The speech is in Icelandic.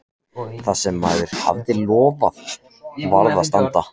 Það sem maður hafði lofað varð að standa.